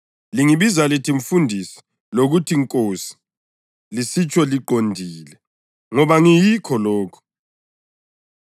Lingibiza lithi ‘Mfundisi’ lokuthi ‘Nkosi,’ lisitsho liqondile, ngoba ngiyikho lokho.